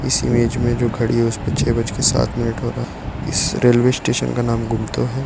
इस इमेज में जो घड़ी है उसमें छह बज के सात मिनट हो रहा है इस रेलवे स्टेशन का नाम गुमतो है।